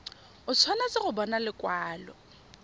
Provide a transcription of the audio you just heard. o tshwanetse go bona lekwalo